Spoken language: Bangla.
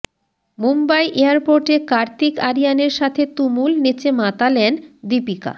মুম্বাই এয়ারপোর্টে কার্তিক আরিয়ানের সাথে তুমুল নেচে মাতালেন দীপিকা